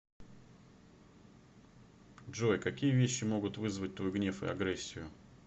джой какие вещи могут вызвать твой гнев и агрессию